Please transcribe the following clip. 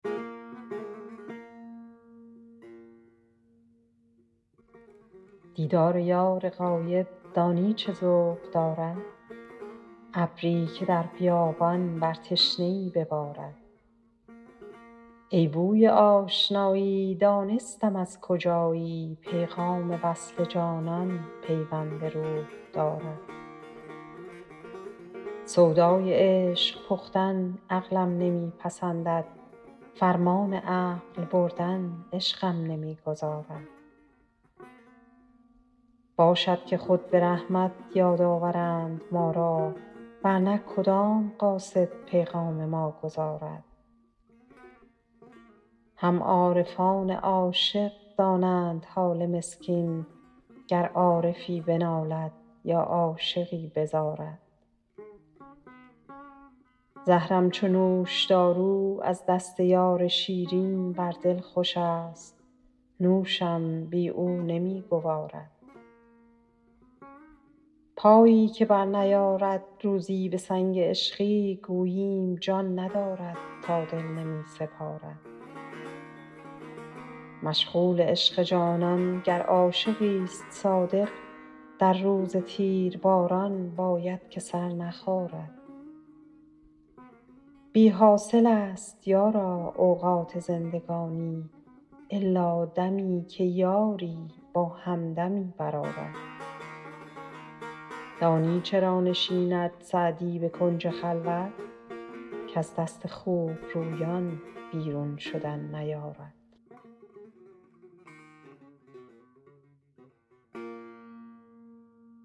دیدار یار غایب دانی چه ذوق دارد ابری که در بیابان بر تشنه ای ببارد ای بوی آشنایی دانستم از کجایی پیغام وصل جانان پیوند روح دارد سودای عشق پختن عقلم نمی پسندد فرمان عقل بردن عشقم نمی گذارد باشد که خود به رحمت یاد آورند ما را ور نه کدام قاصد پیغام ما گزارد هم عارفان عاشق دانند حال مسکین گر عارفی بنالد یا عاشقی بزارد زهرم چو نوشدارو از دست یار شیرین بر دل خوشست نوشم بی او نمی گوارد پایی که برنیارد روزی به سنگ عشقی گوییم جان ندارد یا دل نمی سپارد مشغول عشق جانان گر عاشقیست صادق در روز تیرباران باید که سر نخارد بی حاصلست یارا اوقات زندگانی الا دمی که یاری با همدمی برآرد دانی چرا نشیند سعدی به کنج خلوت کز دست خوبرویان بیرون شدن نیارد